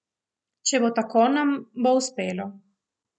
Če bo tako, nam bo uspelo.